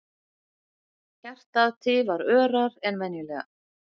Hjartað tifar örar en venjulega.